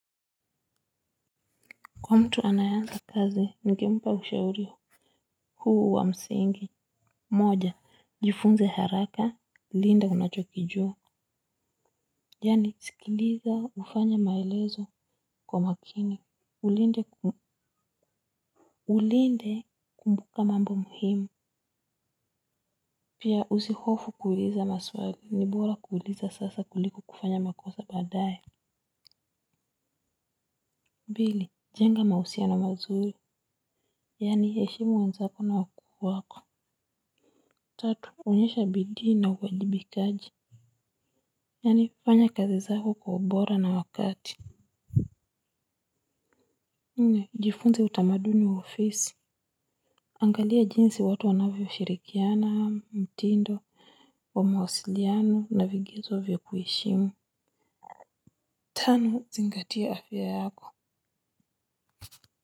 Kwa mtu anayeanza kazi ningempa ushauri huu wa msingi. Moja, jifunze haraka, linda unachokijua. Yaani sikiliza ufanye maelezo kwa makini. Ulinde ku, ulinde kumbuka mambo muhimu. Pia usihofu kuuliza maswali, ni bora kuuliza sasa kuliko kufanya makosa baadaye. Pili, jenga mahusiano mazuri. Yaani heshimu wenzako na wakubwa wako. Tatu, onyesha bidii na uwajibikaji. Yaani, fanya kazi zako kwa ubora na wakati. Nne, jifunze utamaduni wa ofisi. Angalia jinsi watu wanavyoshirikiana, mtindo, wa mawasiliano na vigizo vya kuheshimu. Tano, zingatia afya yako.